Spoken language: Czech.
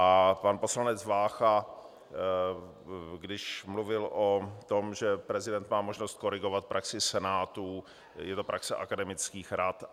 A pan poslanec Vácha, když mluvil o tom, že prezident má možnost korigovat praxi senátů, je to praxe akademických rad.